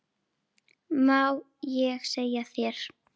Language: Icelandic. Má ég segja þér.